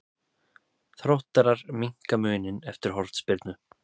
Þróttarar minnka muninn eftir hornspyrnu.